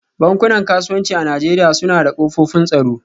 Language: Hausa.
Bankunan kasuwanci a Najeriya suna da kofofin tsaro